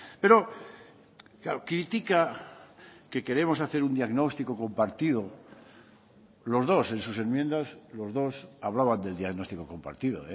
pero claro critica que queremos hacer un diagnóstico compartido los dos en sus enmiendas los dos hablaban del diagnóstico compartido